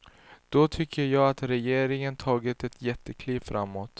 Då tycker jag att regeringen tagit ett jättekliv framåt.